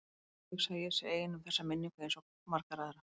Já, ég hugsa að ég sé ein um þessa minningu einsog svo margar aðrar.